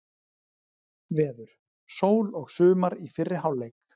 Veður: Sól og sumar í fyrri hálfleik.